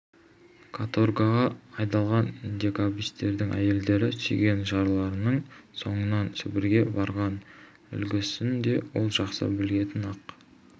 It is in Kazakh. каторгаға айдалған декабристердің әйелдері сүйген жарларының соңынан сібірге барған үлгісін де ол жақсы білетін ақ